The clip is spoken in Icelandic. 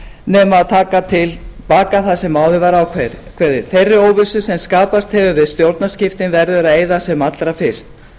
nema að taka til baka það sem áður var ákveðið þeirri óvissu sem skapast hefur við stjórnarskiptin verður að eyða sem allra fyrst